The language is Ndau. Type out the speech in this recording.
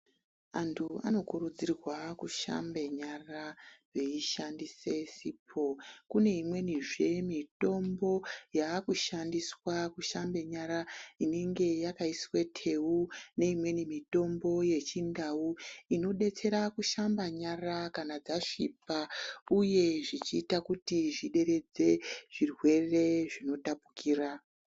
Antu anokurudzirwa kushambe nyara veishandise sipo .Kune imweni zve imweni mitombo yakushandiswa kushamba nyara inenge yakaiswe teu neimweni zve mitombo yechindau inodetsera kushamba nyara kana dzasvipa uye zvichiita kuti zvideredze zvirwere zbinotapukira.